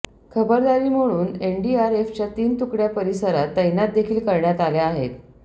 खबरदारी म्हणून एनडीआरएफच्या तीन तुकड्या परिसरात तैनातदेखील करण्यात आल्या आहेत